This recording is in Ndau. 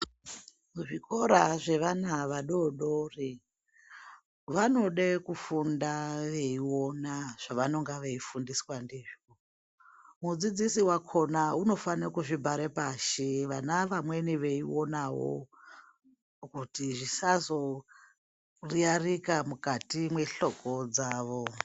Muzvikora zvevana vadodori vanode kufunda veiona zvavanenge veifundiswa ndizvo mudzidzisi wakhona unofane kuzvibhare pashi vana vamweni veionawo kuti zvisazo riyarika mukati mwehloko dzawo.